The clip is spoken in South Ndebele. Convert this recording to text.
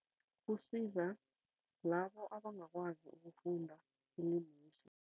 Kusiza labo abangakwazi ukufunda